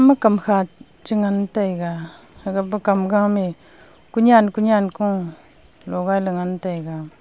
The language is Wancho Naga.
ema kamkha cha ngan taiga amapa kamgo mayi kunyan kunyan kun logaila ngan taiga.